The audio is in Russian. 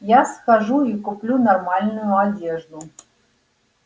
я схожу и куплю нормальную одежду